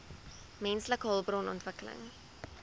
menslike hulpbron ontwikkeling